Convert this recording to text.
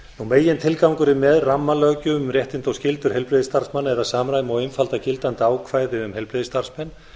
megintilgangurinn með rammalöggjöf um réttindi og skyldur heilbrigðisstarfsmanna er að samræma og einfalda gildandi ákvæði um heilbrigðisstarfsmenn